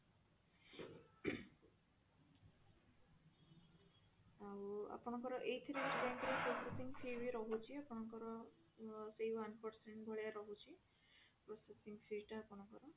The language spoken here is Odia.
ଆଉ ଆପଣଙ୍କର ଏଥିରେ bank ରେ ରହୁଛି ଆପଣଙ୍କର ସେଇ one percent ଭଳିଆ ରହୁଛି processing fees ଟା ଆପଣଙ୍କର